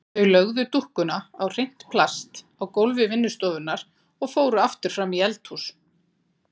Þau lögðu dúkkuna á hreint plast á gólfi vinnustofunnar og fóru aftur fram í eldhús.